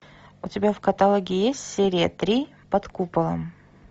у тебя в каталоге есть серия три под куполом